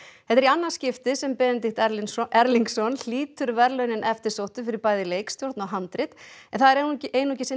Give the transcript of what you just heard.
þetta er í annað skiptið sem Benedikt Erlingsson Erlingsson hlýtur verðlaunin eftirsóttu fyrir bæði leikstjórn og handrit en það er einungis einungis hinn